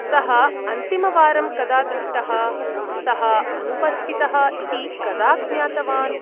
सः अन्तिमवारं कदा दृष्टः, सः अनुपस्थितः इति कदा ज्ञातवान्?